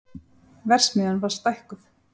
Verksmiðjan var stækkuð